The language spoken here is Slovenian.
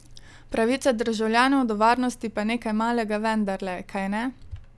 Pravica državljanov do varnosti pa nekaj malega vendarle, kajne?